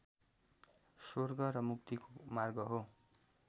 स्वर्ग र मुक्तिको मार्ग हो